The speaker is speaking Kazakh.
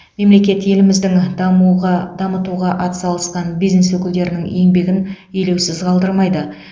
мемлекет елімізді дамытуға атсалысқан бизнес өкілдерінің еңбегін елеусіз қалдырмайды